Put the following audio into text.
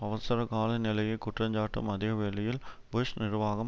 அவசரகால நிலையை குற்றஞ்சாட்டும் அதே வேளையில் புஷ் நிர்வாகம்